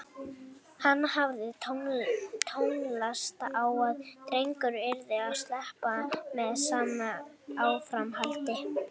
Hann hafði tönnlast á að drengurinn yrði slæpingi með sama áframhaldi.